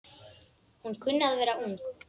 Hún kunni að vera ung.